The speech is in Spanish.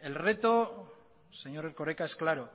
el reto señor erkoreka es claro